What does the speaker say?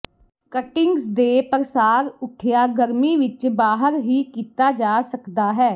cuttings ਕੇ ਪ੍ਰਸਾਰ ਉਠਿਆ ਗਰਮੀ ਵਿੱਚ ਬਾਹਰ ਹੀ ਕੀਤਾ ਜਾ ਸਕਦਾ ਹੈ